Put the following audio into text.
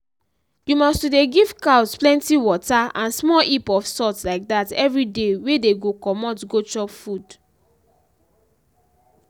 you must to dey give cows plenty water and small heap of salt like dat everyday wey dey go comot go chop food.